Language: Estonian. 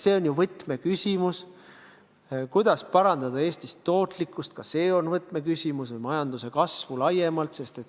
See on ju võtmeküsimus, kuidas parandada Eestis tootlikkust ja toetada majanduse kasvu laiemalt.